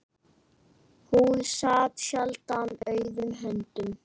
Hún sat sjaldan auðum höndum.